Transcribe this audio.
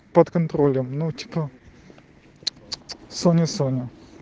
под контролем ну типо ц ц соня соня